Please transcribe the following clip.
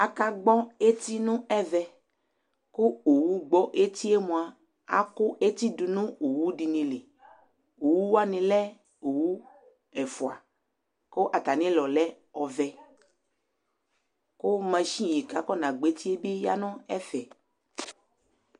akagbɔ eti nu ɛʋɛ ku owu gbɔ etie mua ku eti dini du nu owu dini li owu wani lɛ owu ɛfua ku atami ulɔ lɛ ɔvɛ ku machini kafɔna gbɔ etie bi ya nɛfɛ